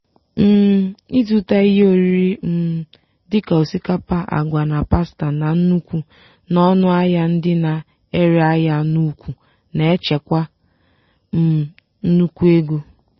um ịzụta ihe oriri um dị ka osikapa agwa na pasta na nnukwu n'ọnụ ahịa ndị na-ere ahịa n'ukwu na-echekwa um nnukwu ego.